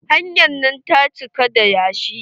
Hanyar nan ta cika da yashi.